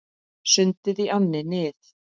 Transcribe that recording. Sundið í ánni Nið